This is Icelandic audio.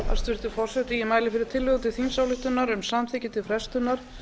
hæstvirtur forseti ég mæli fyrir tillögu til þingsályktunar um samþykki til frestunar